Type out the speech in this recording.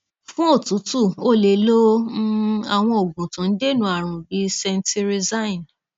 fún òtútù o lè lo um àwọn oògùn tó ń dènà àrùn bí cetirizine